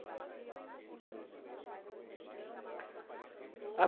Mas você lembra como que foi a sua primeira apresentação, o que você cantou?